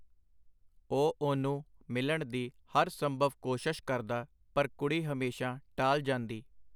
ਉਹ ਉਹਨੂੰ ਮਿਲਣ ਦੀ ਹਰ ਸੰਭਵ ਕੋਸ਼ਸ਼ ਕਰਦਾ, ਪਰ ਕੁੜੀ ਹਮੇਸ਼ਾਂ ਟਾਲ ਜਾਂਦੀ.